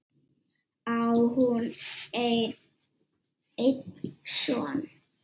Á hún einn son.